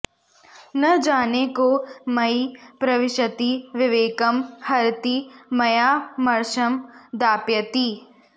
न जाने को मयि प्रविशति विवेकं हरति मया मर्शं दापयति